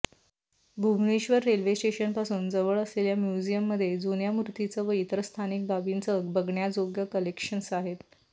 Bhubaneswar railway स्टेशनपासून जवळ असलेल्या म्युझियममध्ये जुन्या मूर्तींचं व इतरही स्थानिक बाबींचं बघण्याजोगं कलेक्शन आहे